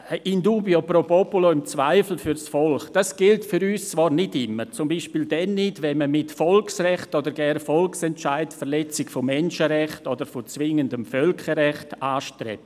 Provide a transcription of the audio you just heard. In dubio pro populo – im Zweifel fürs Volk: Dies gilt für uns zwar nicht immer, zum Beispiel dann nicht, wenn man mit Volksrechten oder gar Volksentscheiden die Verletzung von Menschenrechten oder von zwingendem Völkerrecht anstrebt.